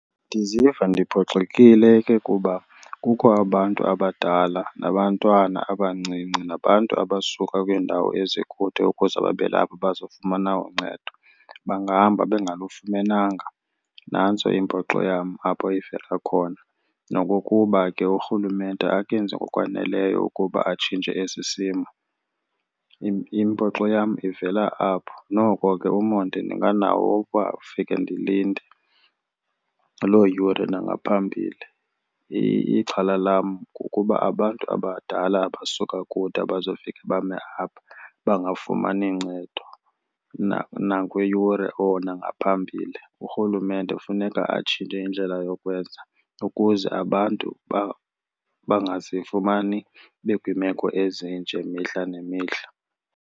Ndiziva ndiphoxekile ke kuba kukho abantu abadala nabantwana abancinci nabantu abasuka kwiindawo ezikude ukuze babe lapha bazofumana uncedo. Bangahamba bengalufumananga, nantso impoxo yam apho ivela khona. Nokukuba ke uRhulumente akenzi ngokwaneleyo ukuba atshintshe esi simo, impoxo yam ivela apho. Noko ke umonde ndinganawo owokuba ndifike ndilinde loo yure nangaphambili. Ixhala lam kukuba abantu abadala abasuka kude abazofike bame apha bangafumani ncedo nakwiyure or nangaphambili. URhulumente kufuneka atshintshe indlela yokwenza ukuze abantu bangazifumani bekwiimeko ezinje mihla nemihla.